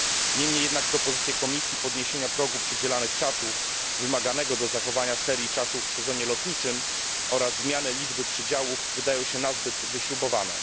Niemniej jednak propozycje Komisji dotyczące podniesienia progu przydzielanych czasów, wymaganego do zachowania serii czasów w sezonie lotniczym, oraz zmiany liczby przydziałów wydają się nazbyt wyśrubowane.